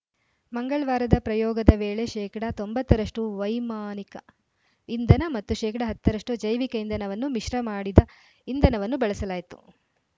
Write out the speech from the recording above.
ಮಂಗಳ್ ವಾರದ ಪ್ರಯೋಗದ ವೇಳೆ ಶೇಕಡಾ ತೊಂಬತ್ತ ರಷ್ಟುವೈಮಾನಿಕ ಇಂಧನ ಮತ್ತು ಶೇಕಡಾ ಹತ್ತ ರಷ್ಟುಜೈವಿಕ ಇಂಧನವನ್ನು ಮಿಶ್ರ ಮಾಡಿದ ಇಂಧನವನ್ನು ಬಳಸಲಾಯ್ತು